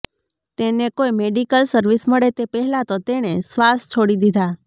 તેને કોઈ medical service મળે તે પહેલા તો તેણે શ્વાસ છોડી દીધા